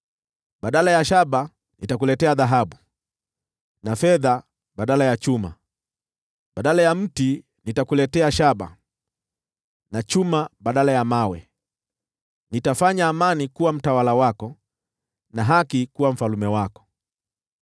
Badala ya shaba nitakuletea dhahabu, na fedha badala ya chuma. Badala ya mti nitakuletea shaba, na chuma badala ya mawe. Nitafanya amani kuwa mtawala wako, na haki kuwa mfalme wako.